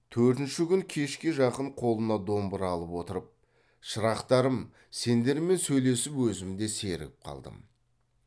төртінші күн кешке жақын қолына домбыра алып отырып шырақтарым сендермен сөйлесіп өзім де сергіп қалдым